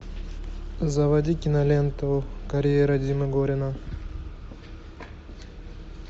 заводи киноленту карьера димы горина